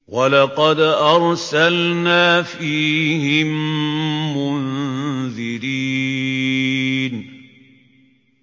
وَلَقَدْ أَرْسَلْنَا فِيهِم مُّنذِرِينَ